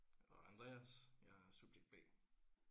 Og Andreas jeg er subjekt B